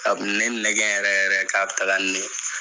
A kun mi ne nɛgɛn yɛrɛ yɛrɛ k'a bi taga n'e ye.